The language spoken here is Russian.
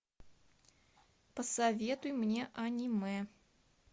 посоветуй мне аниме